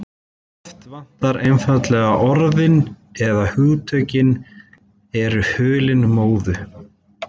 Oft vantar einfaldlega orðin- eða hugtökin eru hulin móðu.